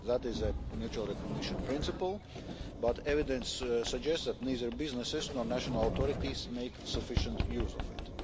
That is a mutual recognition principle but evidence suggests that neither businesses nor national authorities make sufficient use of it.